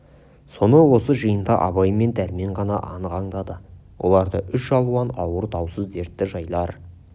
соны осы жиында абай мен дәрмен ғана анық аңдады оларды үш алуан ауыр даусыз дертті жайлар